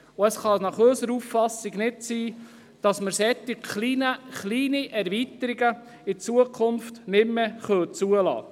Zudem kann es aus unserer Sicht nicht sein, dass wir künftig solch kleine Erweiterungen nicht mehr zulassen dürfen.